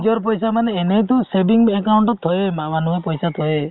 নিজৰ পইচা মানে এনেটো saving account ত থইয়ে মানুহে পইচা থইয়ে